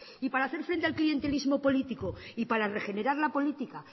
y para hacer frente al clientelismo político y para regenerar la política